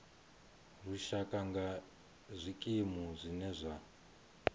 lushaka nga zwikimu zwine zwa